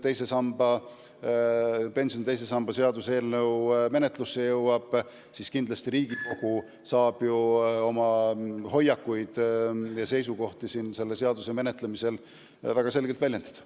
Kui see pensioni teise samba eelnõu menetlusse jõuab, siis kindlasti Riigikogu saab oma hoiakuid ja seisukohti selle menetlemisel väga selgelt väljendada.